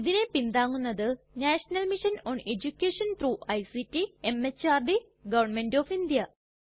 ഇതിനെ പിന്താങ്ങുന്നത് national mission on education through ICT MHRD government of India